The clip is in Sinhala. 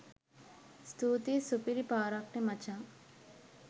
ස්තුතියි සුපිරි පාරක්නෙ මචං